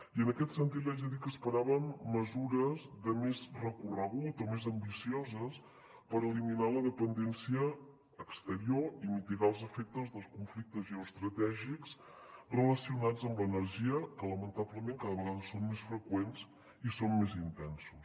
i en aquest sentit li haig de dir que esperàvem mesures de més recorregut o més ambicioses per eliminar la dependència exterior i mitigar els efectes dels conflictes geoestratègics relacionats amb l’energia que lamentablement cada vegada són més freqüents i són més intensos